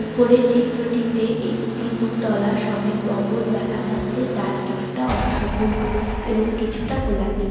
উপরের চিত্রটিতে একটি দুতলা সমেত ভবন দেখা যাচ্ছে যার কিছুটা অংশ হলুদ এবং কিছুটা গোলাপি--